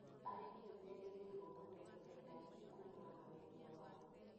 Arĩmi nĩmerĩgĩrĩirwo kũgĩa na baida nene kumana na wendia wao